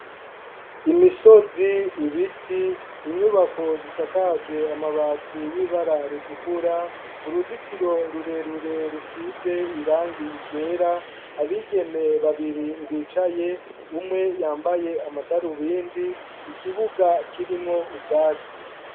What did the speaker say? Imisozi, ibiti, inyubako zisakajwe amabati y'ibara ritukura. Uruzitiro rurerure rusize irangi ryera. Abigeme babiri bicaye ; umwe yambaye amadarubindi, ikibuga kirimwo ubwatsi.